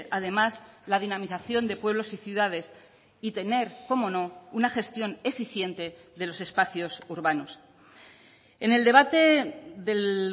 además la dinamización de pueblos y ciudades y tener como no una gestión eficiente de los espacios urbanos en el debate del